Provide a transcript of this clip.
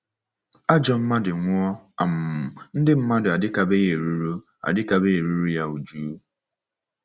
Ajọ mmadụ nwụọ, um ndị mmadụ adịkebeghị eruru adịkebeghị eruru ya újú.